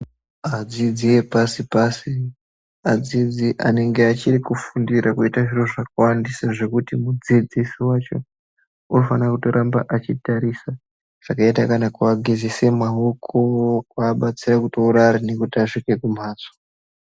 Adsidzi epasi pasi adzidzi anenge achiri kufundire kuite zviro zvakawandisa zvekuti mudzidzsi wacho unofana kutoramba achitarisa zvakaita kana kuvagezesa maoko kuabetsera kutorare nekutitasvike kumhatso.